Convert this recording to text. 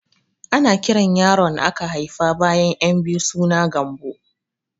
Ana kiran yaron aka haifa bayan ƴan biyu suna Gambo